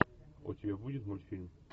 у тебя будет мультфильм